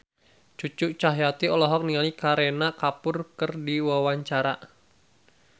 Cucu Cahyati olohok ningali Kareena Kapoor keur diwawancara